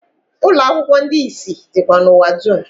Ụlọakwụkwo ndi isi dikwa n’ụwa dum